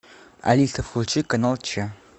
алиса включи канал че